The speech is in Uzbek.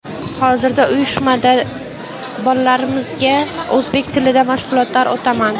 Hozirda uyushmada bolalarimizga o‘zbek tilida mashg‘ulotlar o‘taman.